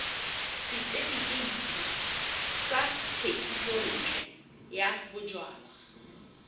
setefikeiti sa thekisontle ya bojalwa